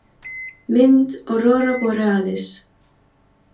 Mynd Aurora borealis.